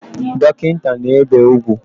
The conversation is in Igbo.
Dokinta na-ebe ugwu